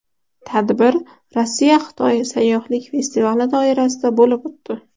Tadbir RossiyaXitoy sayyohlik festivali doirasida bo‘lib o‘tdi.